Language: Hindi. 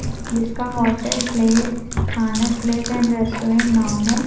जिसका hotel place Anand place and restaurant नाम है।